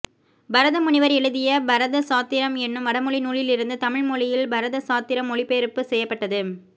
பரத முனிவர் எழுதிய பரத சாத்திரம் எனும் வடமொழி நூலிலிருந்து தமிழ் மொழியில் பரத சாத்திரம் மொழிபெயர்ப்பு செய்யப்பட்டது